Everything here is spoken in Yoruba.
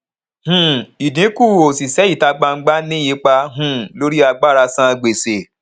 um ìdinku òṣìṣẹ ìta gbangba ní ipa um lórí agbára san gbèsè